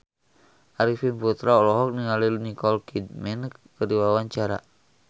Arifin Putra olohok ningali Nicole Kidman keur diwawancara